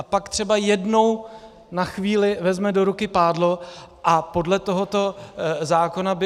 A pak třeba jednou na chvíli vezme do ruky pádlo a podle tohoto zákona by...